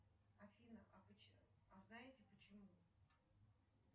афина а а знаете почему